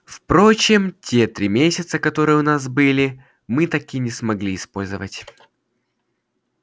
впрочем те три месяца которые у нас были мы так и не смогли использовать